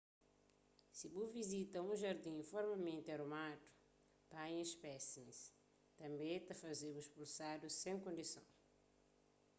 si bu vizita un jardin formalmenti arumadu panha spésimis tanbê ta faze-bu spulsadu sen diskuson